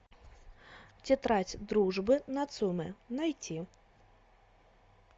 тетрадь дружбы нацумэ найти